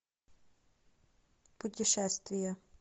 путешествия